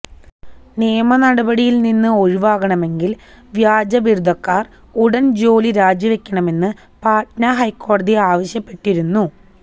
നിയമ നടപടിയില്നിന്ന് ഒഴിവാകണമെങ്കില് വ്യാജ ബിരുദക്കാര് ഉടന് ജോലി രാജിവക്കണമെന്ന് പട്ന ഹൈക്കോടതി ആവശ്യപ്പെട്ടിരുന്നു